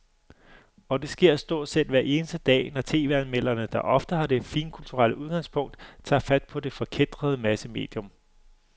Og det sker stort set hver eneste dag, når tv-anmelderne, der ofte har det finkulturelle udgangspunkt, tager fat på det forkætrede massemedium.